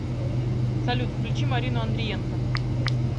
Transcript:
салют включи марину андриенко